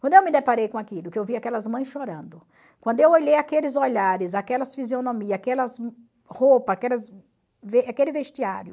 Quando eu me deparei com aquilo, que eu vi aquelas mães chorando, quando eu olhei aqueles olhares, aquelas fisionomias, aquelas roupa, aquelas aquele vestiário,